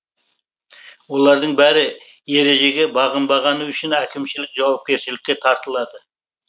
олардың бәрі ережеге бағынбағаны үшін әкімшілік жауапкершілікке тартылады